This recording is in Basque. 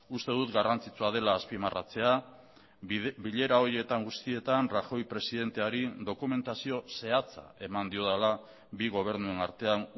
uste dut garrantzitsua dela azpimarratzea bilera horietan guztietan rajoy presidenteari dokumentazio zehatza eman diodala bi gobernuen artean